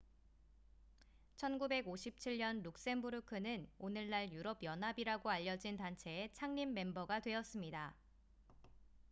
1957년 룩셈부르크는 오늘날 유럽 연합이라고 알려진 단체의 창립 멤버가 되었습니다